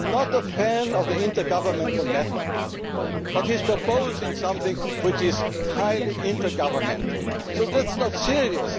interesting. I am not a fan of the intergovernmental method, but he is proposing something which is highly intergovernmental, so that is